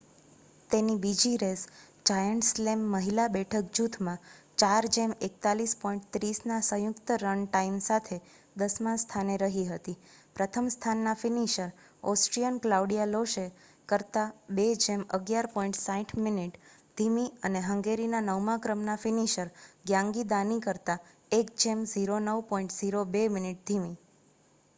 તેની બીજી race giant slalom મહિલા બેઠક જૂથમાં 4:41.30ના સંયુક્ત રન ટાઇમ સાથે દસમા સ્થાને રહી હતી પ્રથમ સ્થાનના ફિનિશર ઓસ્ટ્રિયન ક્લાઉડિયા લોશે કરતાં 2:11.60 મિનિટ ધીમી અને હંગેરીના નવમા ક્રમના ફિનિશર ગ્યાન્ગી દાની કરતા 1:09.02 મિનિટ ધીમી